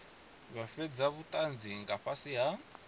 fhe vhutanzi nga fhasi ha